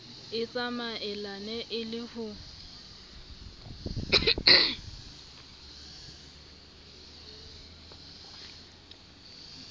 e tsamaelane e le ho